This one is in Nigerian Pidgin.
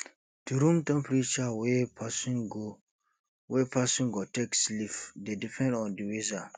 di room temperature wey person go wey person go take sleep dey depend on di weather